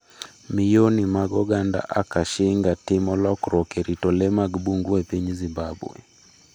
Miyoni mag oganda Akashinga timo lokruok e rito lee mag bungu e piny Zimbabwe